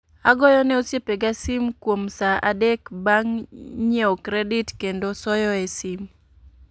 Agoyo ne osiepe ga sim kuom saa adek bang' nyiew kredit kendo soyo e sim